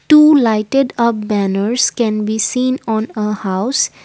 two lighted uh banners can be seen on uh house.